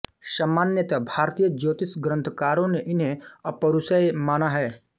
सामान्यतः भारतीय ज्योतिष ग्रंथकारों ने इन्हें अपौरुषेय माना है